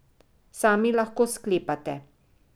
Sami lahko sklepate.